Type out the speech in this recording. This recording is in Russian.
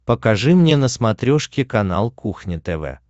покажи мне на смотрешке канал кухня тв